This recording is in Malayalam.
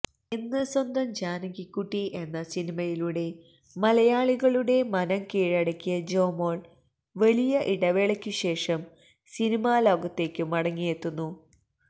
എന്ന് സ്വന്തം ജാനകിക്കുട്ടി എന്ന സിനിമയിലൂടെ മലയാളികളുടെ മനം കീഴടക്കിയ ജോമോള് വലിയ ഇടവേളയ്ക്കു ശേഷം സിനിമാ ലോകത്തേക്കു മടങ്ങിയെത്തുന്നു